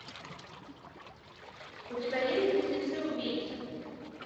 у тебя есть близнецы убийцы